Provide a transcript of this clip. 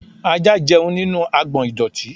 Ajá jẹun nínú agbọ̀n ìdọ̀tí.